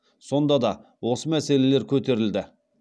сонда да осы мәселелер көтерілді